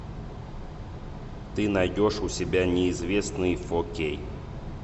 ты найдешь у себя неизвестный фо кей